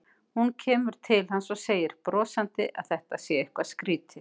Hún kemur til hans og segir brosandi að þetta sé eitthvað skrýtið.